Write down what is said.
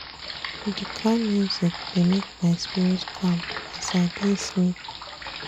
Di calm music dey make my spirit calm as I dey sleep.